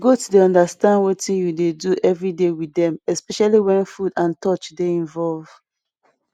goat dey understand wetin you dey do every day with dem especially wen food and touch dey involve